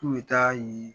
K'u bɛ taa ye